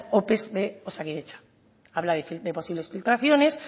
ope de osakidetza habla de posibles filtraciones